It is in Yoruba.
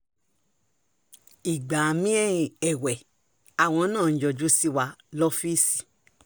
ìgbà mi-ín èwe àwọn náà ń yọjú sí wa lọ́fíìsì